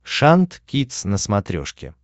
шант кидс на смотрешке